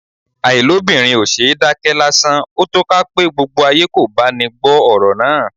Àìlóbìnrin ò ṣeé dákẹ́ lásán; ó tó ká pe gbogbo ayé kò báni gbọ́ ọ̀rọ̀ náà.